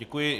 Děkuji.